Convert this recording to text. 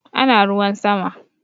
Ana ruwan sama